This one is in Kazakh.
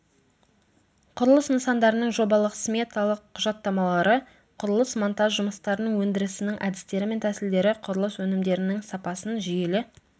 құрылыс нысандарының жобалық сметалық құжаттамалары құрылыс монтаж жұмыстарының өндірісінің әдістері мен тәсілдері құрылыс өнімдерінің сапасын жүйелі